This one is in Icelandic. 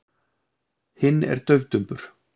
Hinn er daufdumbur.